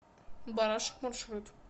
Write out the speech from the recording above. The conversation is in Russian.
барашек маршрут